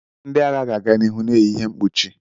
Ndị agha ga-aga n'ihu na-eyi ihe mkpuchi